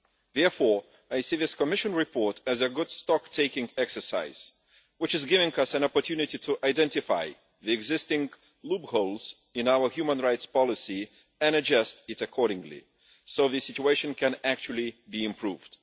Therefore, I see this Commission report as a good stock taking exercise, which is giving us an opportunity to identify the existing loopholes in our human rights policy and adjust it accordingly so that the situation can actually be improved.